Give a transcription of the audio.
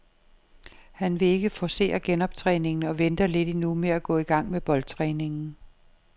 Han vil ikke forcere genoptræningen og venter lidt endnu med at gå i gang med boldtræningen.